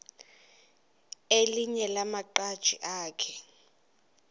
elinye lamaqhaji akhe